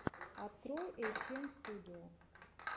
открой эйчэмстудио